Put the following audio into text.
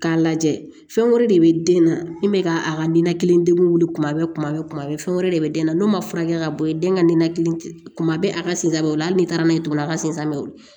K'a lajɛ fɛn wɛrɛ de bɛ den na min bɛ ka a ka ninakili tuma bɛɛ kuma bɛɛ kuma bɛɛ fɛn wɛrɛ de bɛ den na n'o ma furakɛ ka bɔ yen den ka ninakili tuma bɛɛ a ka sen da o la hali n'i taara n'a ye tugun a ka sen samiya